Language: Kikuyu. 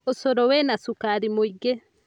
Ũcũrũwĩna cukari mũingĩ